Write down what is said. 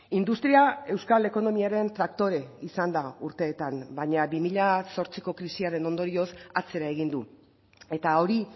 industria euskal ekonomiaren traktore izan da urtetan baina bi mila zortziko krisiaren ondorioz atzera egin du eta hori